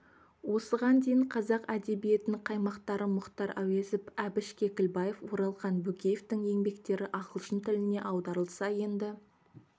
осыған дейін қазақ әдебиетінің қаймақтары мұхтар әуезов әбіш кекілбаев оралхан бөкеевтің еңбектері ағылшын тіліне аударылса енді